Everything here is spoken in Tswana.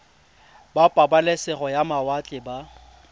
ba pabalesego ya mawatle ba